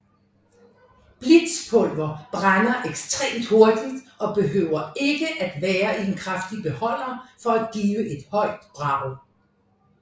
Blitzpulver brænder ekstremt hurtigt og behøver ikke være i en kraftig beholder for at give et højt brag